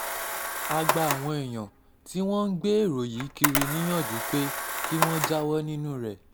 a gba àwọn èèyàn tí wọ́n ń gbé èrò yìí kiri níyànjú pé kí kí wọ́n jáwọ́ nínú ẹ̀